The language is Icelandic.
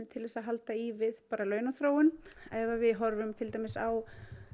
til þess að halda í við launaþróun ef við horfum til dæmis á